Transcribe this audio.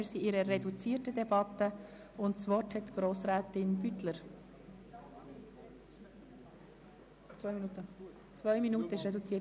Wir befinden uns in einer reduzierten Debatte, und das Wort erhält Grossrätin Beutler.